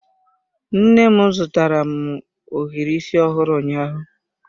Nne m zụtara m ohiri isi ọhụrụ ụnyaahụ.